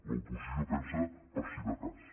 l’oposició pensa per si de cas